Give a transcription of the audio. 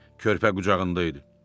Körpə qucağında idi.